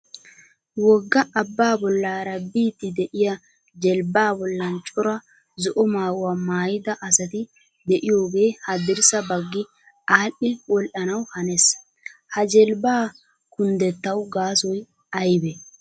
Wogga abbaa bollaara biiddi de"iyaa jelbbaa bollan cora zo"o maayuwa maayida asati de"iyoogee haddirssa baggi aadhdhi wodhanaw hanees. Ha jelbbaa kunddettawu gaasoy aybee?